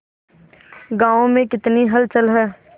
गांव में कितनी हलचल है